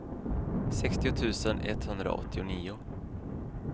sextio tusen etthundraåttionio